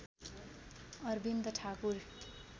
Arvind Thakur